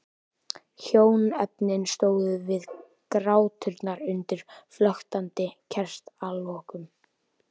Hjónaefnin stóðu við gráturnar undir flöktandi kertalogum.